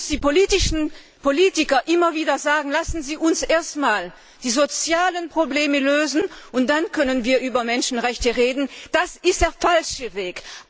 Was uns die Politiker immer wieder sagen lassen Sie uns erst die sozialen Probleme lösen und dann können wir über Menschenrechte reden das ist der falsche Weg!